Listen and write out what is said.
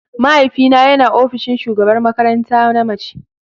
Mahaifina yana ofishin shugabar makaranta na mace.